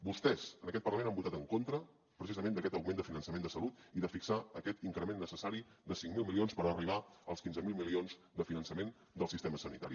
vostès en aquest parlament han votat en contra precisament d’aquest augment de finançament de salut i de fixar aquest increment necessari de cinc mil milions per arribar als quinze mil milions de finançament del sistema sanitari